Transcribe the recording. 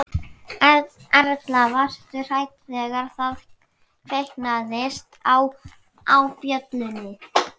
Erla: Varstu hrædd þegar það kviknaði á, á bjöllunni?